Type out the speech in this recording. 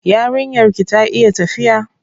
Yarinyar ki ta iya tafiya?